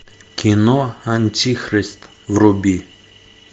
кино антихрист вруби